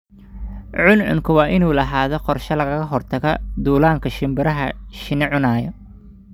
Cuncunku waa inuu lahaadaa qorshe lagaga hortagayo duullaanka shimbiraha shinni cunaya.